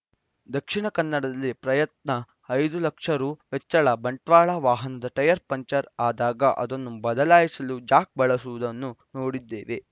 ದಕ್ಷಿಣ ಕನ್ನಡದಲ್ಲಿ ಪ್ರಯತ್ನ ಐದು ಲಕ್ಷ ರು ವೆಚ್ಚ ಬಂಟ್ವಾಳ ವಾಹನದ ಟಯರ್‌ ಪಂಕ್ಚರ್‌ ಆದಾಗ ಅದನ್ನು ಬದಲಾಯಿಸಲು ಜಾಕ್‌ ಬಳಸುವುದನ್ನು ನೋಡಿದ್ದೇವೆ